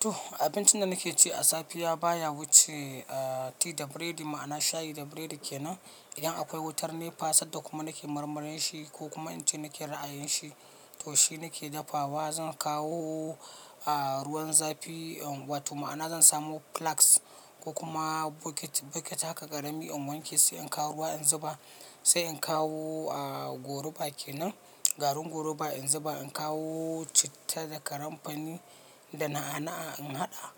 To abincin da nake ci a safiya baya wuce tea da bread ma'ana shayi da biredi kenan. Idan akwai wutar NEPA sanda kuma nake marmarin shi ko kuma inta nake ra'ayin shi to shi nake dafawa. Zan kawo ruwan zafi, wato ma'ana zan samu plask ko kuma bucket, bucket haka ƙarami. In wanki sai in kawo ruwa in zuba, sai in kawo goruba kenan, garin goruba in zuba. In kawo citta da karanfani da na'ana'a in haɗa.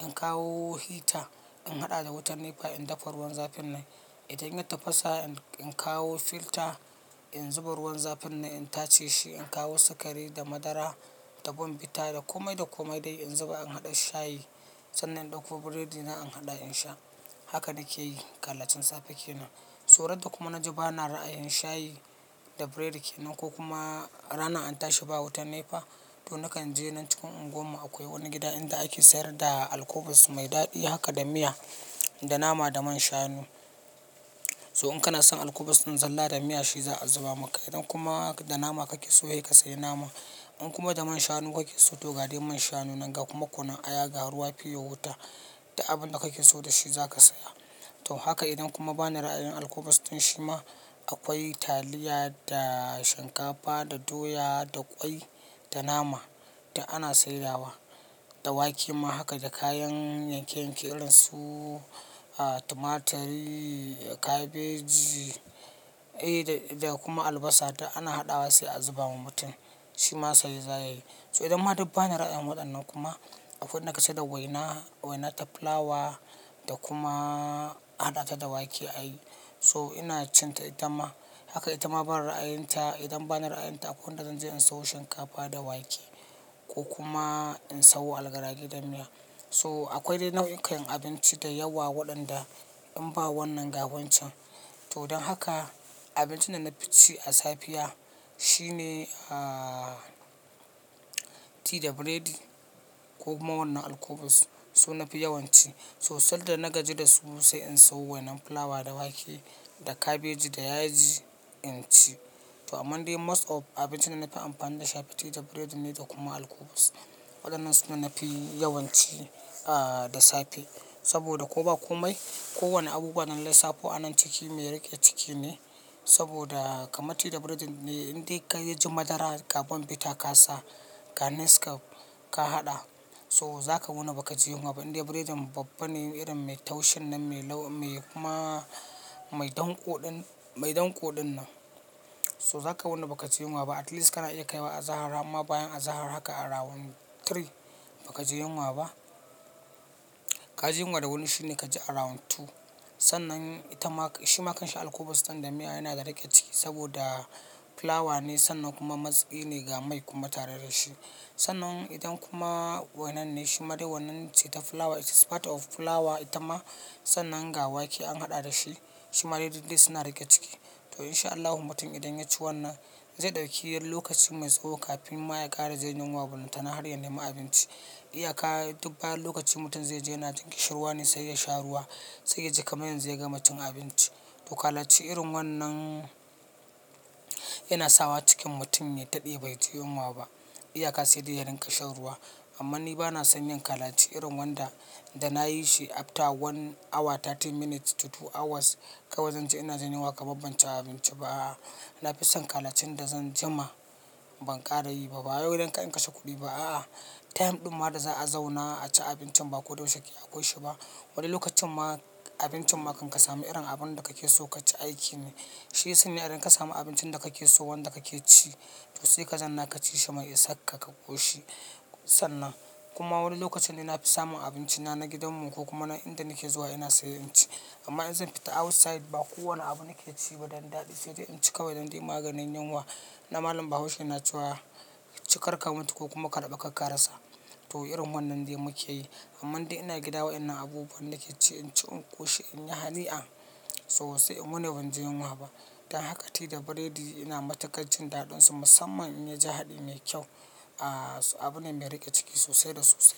In kawo hita in haɗa da wutar NEPA in dafa ruwan zafin nan. Idan ya tafasa in kawo filter in zuba ruwan zafin nan in tace shi. In kawo sukari da madara da bumbita da kome da kome dai in zuba in haɗa shayi. Sannan in ɗauko biredi nan in haɗa in sha. Haka nake yi ƙalacin safe kenan. So ran da kuma na ji bana ra'ayin shayi da biredi kenan ko kuma rana an tashi ba wutar NEPA to nakan je nan cikin unguwar mu akwai wani gida inda ake sayar da alkubus mai daɗi haka da miya da nama da man shanu. So in kana son alkubus ɗin zalla da miya shi za a zuba maka. Idan kuma da nama kake so, hei ka sayi nama. In kuma da man shanu kake so to ga dai man shanu nan ga kuma kunun aya, garuwa, fiyo, wata da abin da kake so da shi zaka saya. To haka idan kuma bani ra'ayin alkubus ɗin shi ma akwai taliya da shinkafa da doya da ƙwai da nama da ana sayarwa da wake ma haka da kayan yankeyenke irin su tumaturi, kabeji eh da kuma albasa da ana haɗawa sai a zuba wa mutum. Shi ma saye zaya yi. So idan ma duk bani ra'ayin waɗannan kuma akwai inda ka saya da waina, waina da fulawa da kuma a haɗa ta da wake a yi. So ina cinta ita ma haka ita ma bani ra'ayinta. Idan bani ra'ayin ta akwai inda zan je in samo shinkafa da wake ko kuma in samo algara ge da miya. So akwai dai nau'ikan abinci da yawa waɗanda in ba wannan ga wancan. To don haka abincin da na fi ci a safiya shine, ah, tea da breadi ko ma wannan alkubus. So na fi yawan ci. So sanda na gaji da su sai in sayo wainan fulawa da wake da kabeji da yaji in ci. To aman dai most of abincin da na fi amfani da sha fi tea da breadin ne da kuma alkubus. Waɗannan su ne na fi yawan ci, ah, da safe. Saboda ko ba kome ko wani abu waɗannan sai fo anan ciki mai riƙe ciki ne. Saboda kamar tea da breadin ne in dai ka yi ji madara da gabon bita ka sa garnish ka, ka haɗa so zaka wuna ba ka ji yunwa ba. Inde biredin babba ne irin mai taushin nan mai lau mai kuma mai dan koɗin, mai dan koɗin nan so zaka wuna ba ka ji yunwa ba. At least kana iya kaiwa azahar amma bayan azahar haka a rawon three ba ka ji yunwa ba. Ka ji yunwa da wani shine kaji a rawon two. Sannan ita ma, shi makanshin alkubus ɗin da miya yana da riƙe ciki saboda fulawa ne sannan kuma matsiki ne ga mai kuma tare da shi. Sannan idan kuma wainan ne shi made wainan ce ta fulawa, it is part of fulawa ita ma sannan ga wake an haɗa da shi. Shi made duk dai suna riƙe ciki. To in sha Allahu mutum idan ya ci wannan zai ɗauki yan lokaci mai tsawo kafin ma ya ƙare zai yi yunwa. Mutane har ya nemi abinci. Iyaka duk bayan lokaci mutum zai je yana jin ƙishirwa ne sai ya sha ruwa sai ya ji kamyon zai gama cin abinci. To kalaci irin wannan yana sawa cikin mutum ya daɗe bai ji yunwa ba. Iyaka sai dai ya rinƙa shan ruwa. Amma ni bana son yin kalaci irin wanda da na yi shi after one hour 30 minutes to two hours kawai zan je ina ji yunwa kaman ban ci abinci ba. Na fi son kalacin da zan jima ban ƙara yi ba. Ba yau idan ka in kashe kuɗi ba a. Time ɗin ma da za a zauna a ci abincin ba ko da yaushe ki akwai shi ba. Wani lokacin ma abincin ma kan ka samu irin abin da kake so ka ci aiki ne. Shi ya sanya idan ka samu abincin da kake so wanda kake ci to sai ka zanna ka ci shi mai isar ka ƙoshi. Sannan kuma wani lokacin ne na fi samun abincina na gidan mu ko kuma na inda nake zuwa ina sayo in ci. Amma in zan fita outside ba kowane abu nake ci ba dan daɗi. Sai dai in ci kawai idan dai maganin yunwa na malam Bahaushe na cewa ci karka mutu ko kuma karɓi karka rasa. To irin wannan dai muke yi. Amman dai ina gida wai inan abubuwan nake ci in ci in ƙoshi in yi hani an. So sai in wu ni banji yunwa ba. Don haka tea da breadi ina matukan jin daɗinsu musamman in ya ji haɗi mai kyau, ah, abin ne mai riƙe ciki sosai da sosai.